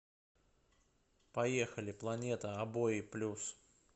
поехали планета обои плюс